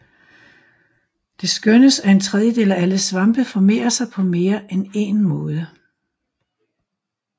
Det skønnes at en tredjedel af alle svampe formerer sig på mere end en måde